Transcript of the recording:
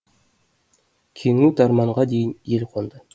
кеңу тарманға дейін ел қонды